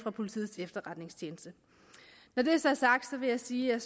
politiets efterretningstjeneste når det så er sagt vil jeg sige at